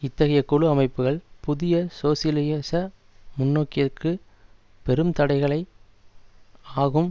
இத்தகைய குழு அமைப்புக்கள் புதிய சோசியலிச முன்னோக்கிற்கு பெரும் தடைகளை ஆகும்